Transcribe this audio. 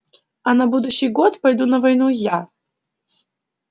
а на будущий год пойду на войну я